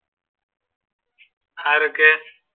ആരൊക്കെ?